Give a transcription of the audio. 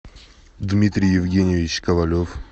дмитрий евгеньевич ковалев